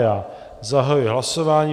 Já zahajuji hlasování.